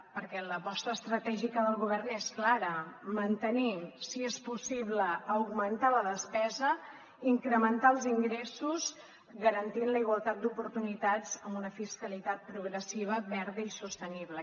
perquè l’aposta estratègica del govern és clara mantenir si és possible augmentar la despesa i incrementar els ingressos garantint la igualtat d’oportunitats amb una fiscalitat progressiva verda i sostenible